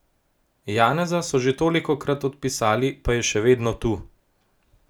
Janeza so že tolikokrat odpisali, pa je še vedno tu!